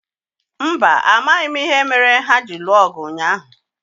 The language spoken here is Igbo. Mba, amaghị m ìhè méré hà jiri lụọ ọgụ ụnyaahụ